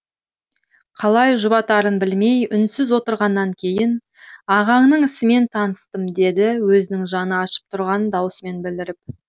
қалай жұбатарын білмей үнсіз отырғаннан кейін ағаңның ісімен таныстым деді өзінің жаны ашып тұрғанын даусымен білдіріп